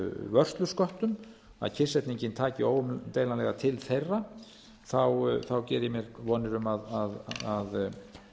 vörslusköttum að kyrrsetningin taki óumdeilanlega til þeirra geri ég mér vonir um að